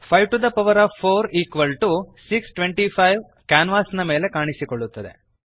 54625 ಕ್ಯಾನ್ವಾಸಿನ ಮೇಲೆ ಕಾಣಿಸುತ್ತದೆ